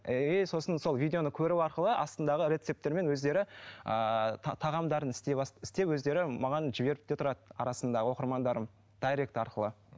и сосын сол видеоны көру арқылы астындағы рецепттермен өздері ыыы тағамдарын істей істеп өздері маған жіберіп те тұрады арасында оқырмандарым дайрект арқылы